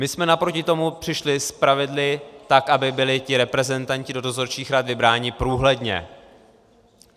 My jsme naproti tomu přišli s pravidly tak, aby byli ti reprezentanti do dozorčích rad vybráni průhledně.